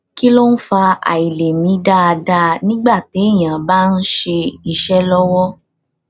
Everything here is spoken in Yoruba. kí ló ń fa àìlè mí dáadáa nígbà téèyàn bá ń ṣe iṣẹ lọwọ